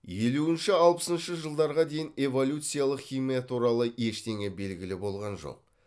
елуінші алпысыншы жылдарға дейін эволюциялық химия туралы ештеңе белгілі болған жоқ